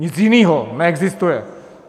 Nic jiného neexistuje.